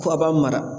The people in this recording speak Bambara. Ko a b'a mara